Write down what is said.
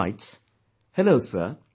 He writes, "Hello sir